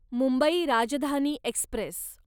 Mumbai Rajdhani Express